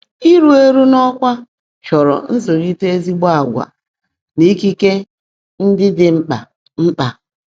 Iru eru n'ọkwá chọrọ nzụlite ezigbo agwa na ikike ndị dị mkpa. mkpa.